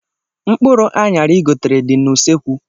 Mkpụrụ anyara igotere dị n' usekwu